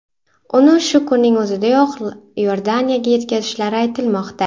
Uni shu kunning o‘zidayoq Iordaniyaga yetkazishlari aytilmoqda.